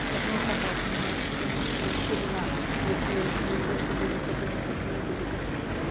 даже мой папа охренел хотя он у меня ветеринар говорит я ещё не видел чтобы настолько жестоким и были коты